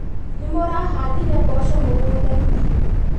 Nĩmũrahandire mboco mũgũndainĩ?